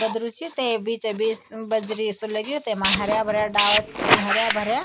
गधरू च तै बीचा बीस बजरी सु लग्यु तैमा हर्या भर्या डाला छ हर्या भर्या।